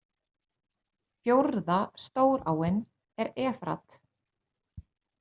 Fjórða stóráin er Efrat.